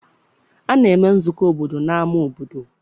A na-eme nzukọ obodo n'ama obodo.